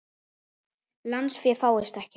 Lánsfé fáist ekki.